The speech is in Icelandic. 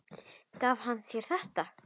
Gaf hann þér þetta?